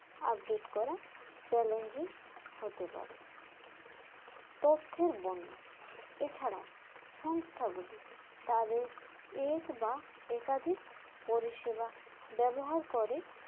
update করা challenging হতে পারে তথ্যের বন্যা এছাড়াও সংস্থাগুলি তাদের এক বা একাধিক পরিষেবা ব্যবহার করে